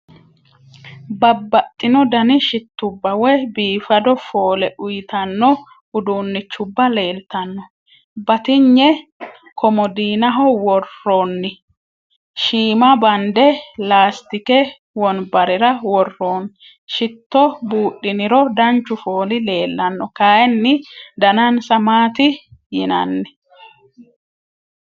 Babbaxino Dani shittubba woyi biifado fooled uuyitanno uduunnichubba leeltanno. Batinye komodiinaho worroonni. Shiima bande laastikete wonbarera worroonni. Shitto buudhiniro danchu fooli leellanno. Kayinni danansa maati yinanni.